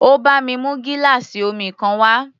Ó bá mi mú gíláàsì omi kan wá.